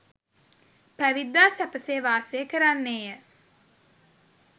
පැවිද්දා සැපසේ වාසය කරන්නේය.